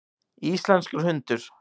Íslenskur hundur.